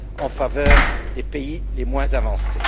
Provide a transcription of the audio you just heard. en faveur des pays les moins avancés.